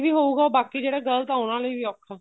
ਹੋਊਗਾ ਉਹ ਬਾਕੀ ਜਿਹੜੇ ਗਲਤ ਏ ਉਹਨਾ ਲਈ ਵੀ ਔਖਾ